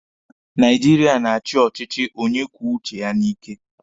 Naijiria na-achi ọchịchị onye kwuo uche ya n'ike